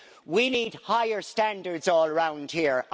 We need higher standards all round here.